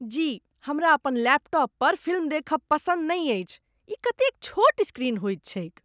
जी। हमरा अपन लैपटॉप पर फिल्म देखब पसन्द नहि अछि। ई कतेक छोट स्क्रीन होइत छैक ।